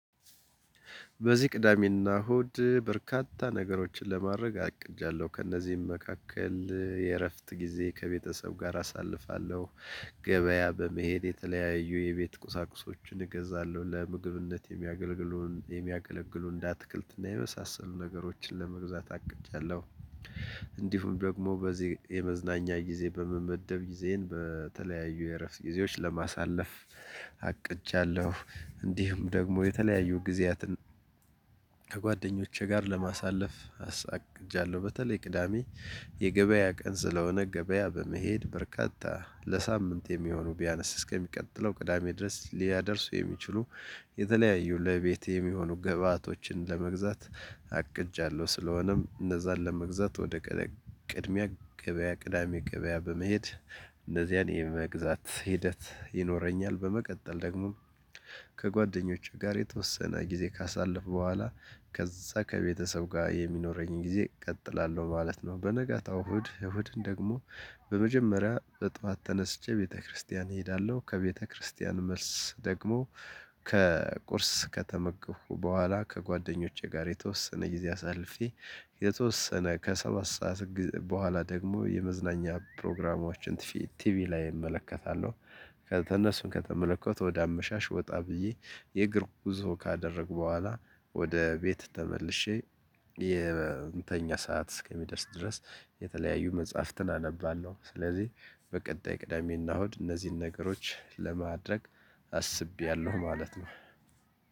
በዚህ ቅዳሜና እሁድ በርካታ ነገሮችን ለማድረግ አቅጃለሁ ከእነዚህም መካከል የእረፍት ጊዜ ከቤተሰብ ጋር አሳልፋለሁ። ገበያ በመሄድ የተለያዩ የቤት ቁሳቁሶችን እገዛለሁ ለምግብነት የሚያገለግሉን የሚያገለግሉን እንደ አትክልትና የመሳሰሉ ነገሮችን ለመግዛት አቅጃለሁ። እንዲሁም ደግሞ በዚህ የመዝናኛ ጊዜ በመመደብ ጊዜን በተለያዩ የእረፍት ጊዜዎች ለማሳለፍ አቅጃለሁ እንዲሁም ደግሞ የተለያዩ ጊዜያትን ከጓደኞቼ ጋር ለማሳለፍ አቅጃለሁ። በተለይ ቅዳሜ የገበያ ቀን ስለሆነ ገበያ በመሄድ በርካታ ለሳምንት የሚሆኑ ቢያነስ እስከሚቀጥለው ቅዳሜ ድረስ ሊያደርሱ የሚችሉ የተለያዩ ለቤቴ የሚሆኑ ገብአቶችን ለመግዛት አቅጃለሁ። ስለሆነም እነዛን ለመግዛት ወደ ቅድሚያ ገበያ ቅዳሜ ገበያ በመሄድ እነዚያን የመግዛት ሂደት ይኖረኛል። በመቀጠል ደግሞ ከጓደኞቼ ጋር የተወሰነ ጊዜ ካሳለፉ በኋላ ከዛ ከቤተሰብ ጋር የሚኖረኝን ጊዜ እቀጥላለሁ ማለት ነው። በነጋታው እሁድ እሁድን ደግሞ በመጀመሪያ ጠዋት ተነስቼ ቤተክርስቲያን እሄዳለሁ። ከቤተክርስቲያን መልስ ደግሞ ከቁርስ ከተመገኩ በኋላ ከጓደኞቼ ጋር የተወሰነ ጊዜ አሳልፊ። የተወሰነ ከሰባት ሰዓት በኋላ ደግሞ የመዝናኛ ፕሮግራሞችን ቲቪ ላይ እመለከታለሁ። ከእነሱን ከተመለከቱት ወደ አመሻሽ ወጣ ብዬ የእግር ጉዞ ካደረጉ በኋላ ወደ ቤት ተመልሼ የእንተኛ ሰዓት እስከሚደርስ ድረስ የተለያዩ መጽሐፍትን አነባለሁ። ስለዚህ በቀጣይ ቅዳሜና እሁድ እነዚህን ነገሮች ለማድረግ አስቤያለሁ ማለት ነው።